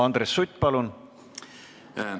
Andres Sutt, palun!